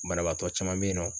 Banabaatɔ caman be yen nɔ